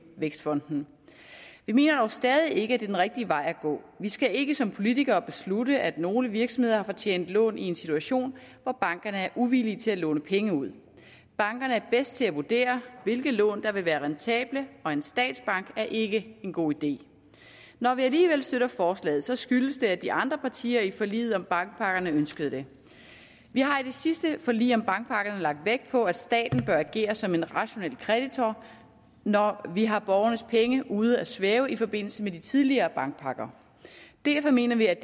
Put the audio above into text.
vækstfonden vi mener dog stadig ikke at det er den rigtige vej at gå vi skal ikke som politikere beslutte at nogle virksomheder har fortjent lån i en situation hvor bankerne er uvillige til at låne penge ud bankerne er bedst til at vurdere hvilke lån der vil være rentable og en statsbank er ikke en god idé når vi alligevel støtter forslaget så skyldes det at de andre partier i forliget om bankpakkerne ønskede det vi har i det sidste forlig om bankpakkerne lagt vægt på at staten bør agere som en rationel kreditor når vi har borgernes penge ude at svømme i forbindelse med de tidligere bankpakker derfor mener vi at